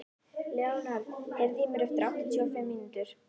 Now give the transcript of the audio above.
Leonhard, heyrðu í mér eftir áttatíu og fimm mínútur.